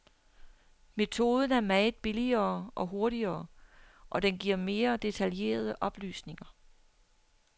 Metoden er meget billigere og hurtigere, og den giver mere detaljerede oplysninger.